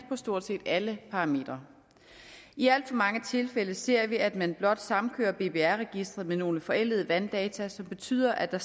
på stort set alle parametre i alt for mange tilfælde ser vi at man blot samkører bbr registeret med nogle forældede vanddata som betyder at der